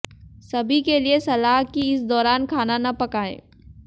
सभी के लिए सलाह कि इस दौरान खाना न पकाएं